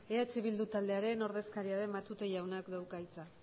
eh bildu taldearen ordezkaria den matute jaunak dauka hitza